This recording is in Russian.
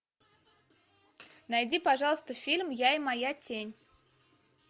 найди пожалуйста фильм я и моя тень